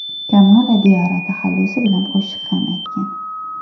Kamola Diyora taxallusi bilan qo‘shiq ham aytgan.